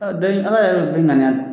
Danni Ala yɛrɛ bɛ Bɛɛ ŋaniya